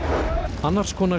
annars konar